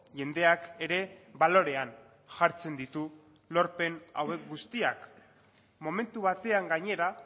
jendeak ere balorean jartzen ditu lorpen hauek guztiak momentu batean gainera